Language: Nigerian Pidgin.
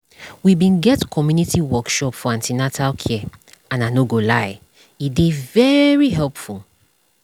we bin get community workshop for an ten atal care and i no go lie e dey very helpful